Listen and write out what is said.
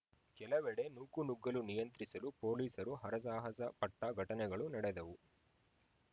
ಕೆಲವೆಡೆ ನೂಕುನುಗ್ಗಲು ನಿಯಂತ್ರಿಸಲು ಪೊಲೀಸರು ಹರಸಾಹಸ ಪಟ್ಟಘಟನೆಗಳು ನಡೆದವು